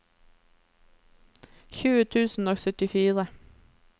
tjue tusen og syttifire